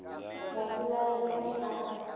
babolai ka ge a re